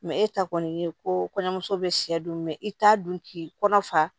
e ta kɔni ye ko kɔɲɔmuso bɛ sɛ dun i t'a dun k'i kɔnɔ fa